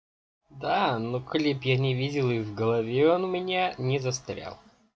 да ну клип я не видел и в голове он у меня не застрял